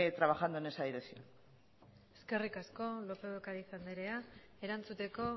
trabajando en esa dirección eskerrik asko lópez de ocariz anderea erantzuteko